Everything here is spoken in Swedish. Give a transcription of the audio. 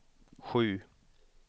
sju